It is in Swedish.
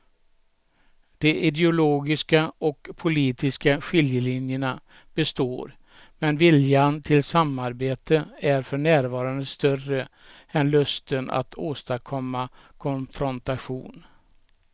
De ideologiska och politiska skiljelinjerna består men viljan till samarbete är för närvarande större än lusten att åstadkomma konfrontation.